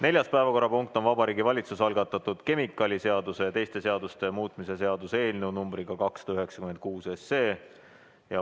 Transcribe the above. Neljas päevakorrapunkt on Vabariigi Valitsuse algatatud kemikaaliseaduse ja teiste seaduste muutmise seaduse eelnõu numbriga 296.